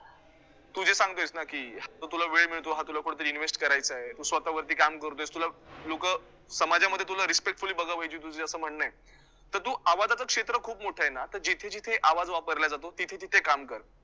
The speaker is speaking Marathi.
तु जे सांगतोयस ना की जो तुला वेळ मिळतो, हा तुला कुठेतरी invest करायचा, तु स्वतःवरती काम करतोस तुला लोकं समाजामध्ये तुला respectfully बघावयाची, तुझं असं म्हणणं तर तु आवाजचं क्षेत्र खूप मोठं आहेना तर जिथे जिथे आवाज वापरला जातो तिथे तिथे काम कर